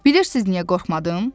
Bilirsiniz niyə qorxmadım?